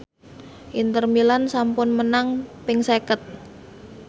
Inter Milan sampun menang ping seket